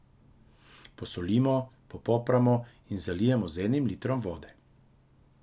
Posolimo, popramo in zalijemo z enim litrom vode.